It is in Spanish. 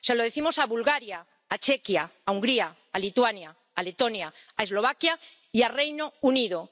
Se lo decimos a Bulgaria, a Chequia, a Hungría, a Lituania, a Letonia, a Eslovaquia y al Reino Unido.